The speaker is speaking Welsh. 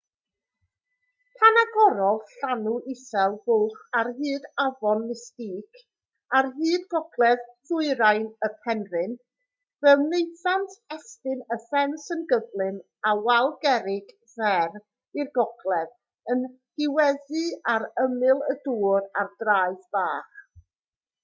pan agorodd llanw isel fwlch ar hyd afon mystic ar hyd gogledd-ddwyrain y penrhyn fe wnaethant estyn y ffens yn gyflym â wal gerrig fer i'r gogledd yn diweddu ar ymyl y dŵr ar draeth bach